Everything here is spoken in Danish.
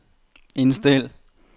indstil